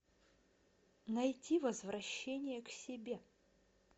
найти возвращение к себе